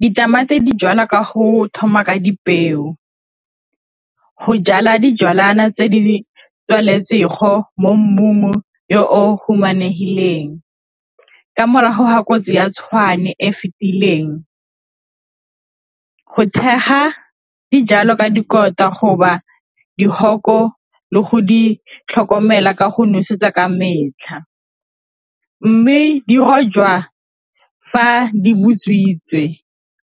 Ditamati di jalwa ka go thoma ka dipeo, go jala dijalwana tse di mo mmung yo humanegileng, ka morago ga kotsi ya tshwane e fitileng thekga dijalo ka dihoko le go di tlhokomela ka go nosetsa ka metlha, mme di rojwa fa di butswitse